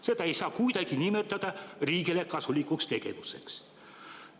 Seda ei saa kuidagi nimetada riigile kasulikuks tegevuseks.